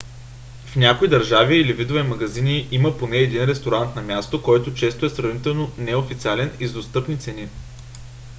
в някои държави или видове магазини има поне един ресторант на място който често е сравнително неофициален и с достъпни цени